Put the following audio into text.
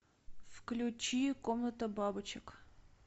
включи комната бабочек